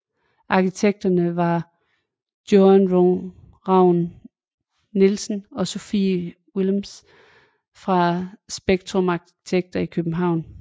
Arkitekterne var Joan Raun Nielsen og Sofie Willems fra Spektrum Arkitekter i København